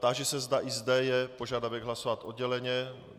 Táži se, zda i zde je požadavek hlasovat odděleně.